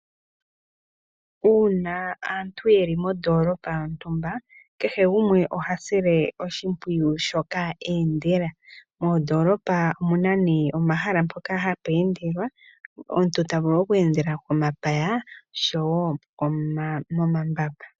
Uuna aantu yeli mondolopa yontumba kehe gumwe oha sile oshimpwiyu shoka endela, moondolopa omuna nee omahala mpoka hapu endelwa, omuntu ta vulu oku endela komapaya oshowo momambamba.